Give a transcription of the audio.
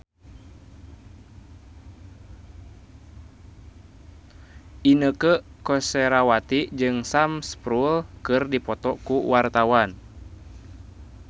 Inneke Koesherawati jeung Sam Spruell keur dipoto ku wartawan